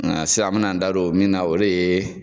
Nga sisan an me na n da don min na o de ye